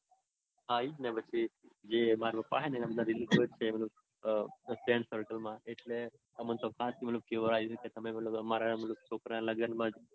હા ઈજ ને પછી. જે માર પપ છે ને એમના friend circle માં છે એટલે અમારે તો તમે મતલબ